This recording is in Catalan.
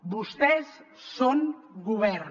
vostès són govern